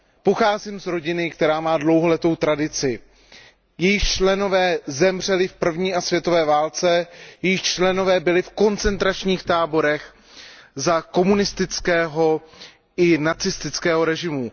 Pocházím z rodiny, která má dlouholetou tradici, jejíž členové zemřeli v první a druhé světové válce, jejíž členové byli v koncentračních táborech za komunistického i za nacistického režimu.